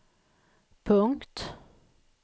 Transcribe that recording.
punkt